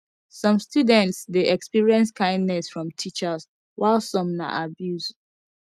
some students de experience kindness from teachers while some na abuse